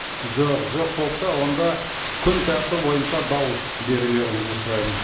жоқ жоқ болса онда күн тәртібі бойынша дауыс берулеріңізді сұраймын